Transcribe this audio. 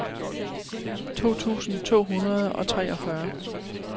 to tusind to hundrede og treogfyrre